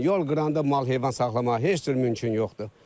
Yol qıranda mal-heyvan saxlamağa heç cür mümkün yoxdur.